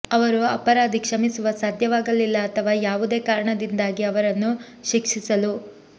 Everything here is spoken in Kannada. ಅವರು ಅಪರಾಧಿ ಕ್ಷಮಿಸುವ ಸಾಧ್ಯವಾಗಲಿಲ್ಲ ಅಥವಾ ಯಾವುದೇ ಕಾರಣದಿಂದಾಗಿ ಅವರನ್ನು ಶಿಕ್ಷಿಸಲು